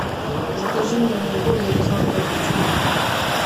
закажи мне бургер из макдональдса